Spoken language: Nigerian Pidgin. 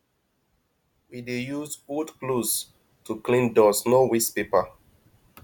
we dey use old clothes to clean dust no waste paper